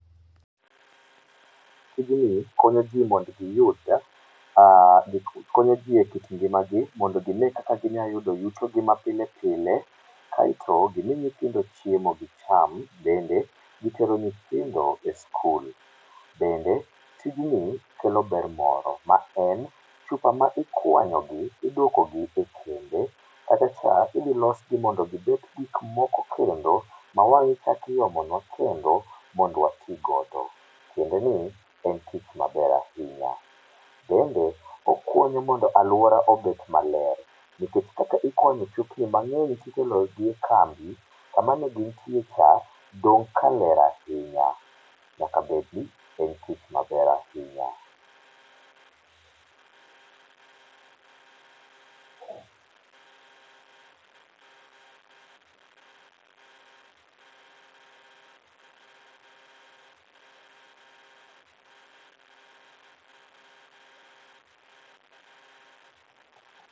Tijni konyo jii mond giyud, eee konyo ji e kit ngimagi mondo gine kaka ginyaloyudo yutogi ma pilepile ae to gimii nyithindo chiemo gicham bende gitero nyithindo e skul. Bende tijni kelo ber moro ma en chupa ma ikwanyogi iduokogi kembe kachacha idhilosgi mondo gibed gikmoko kendo mawang'ichakiomonwa kendo mondwatii godo tiendeni en tich maber ainya. Bende okonyo mondo aluora obed maler nikech kata ikuanyo chupni mang'eny tikelogi e kambi kamanegintie cha dong' kaler ainya. Nyakabedi, en tich maber ainya.